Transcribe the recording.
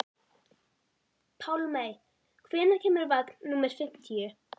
Pálmey, hvenær kemur vagn númer fimmtíu?